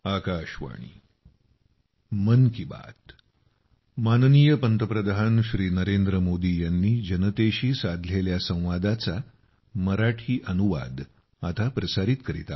नवी दिल्ली 26 फेब्रुवारी 2023